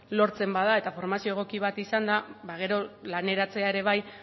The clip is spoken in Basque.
lortzen bada eta formazio egoki bat izanda ba gero laneratzea ere bai